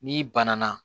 N'i banana